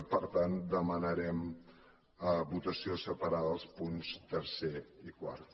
i per tant demanarem votació separada dels punts tercer i quart